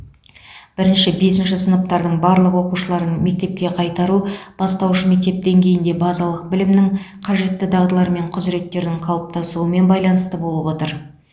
бірінші бесінші сыныптардың барлық оқушыларын мектепке қайтару бастауыш мектеп деңгейінде базалық білімнің қажетті дағдылар мен құзыреттердің қалыптасуымен байланысты болып отыр